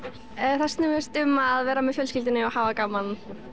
snúast um að vera með fjölskyldunni og hafa gaman